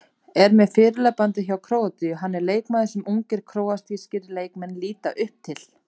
Er með fyrirliðabandið hjá Króatíu, hann er leikmaðurinn sem ungir króatískir leikmenn líta upp til.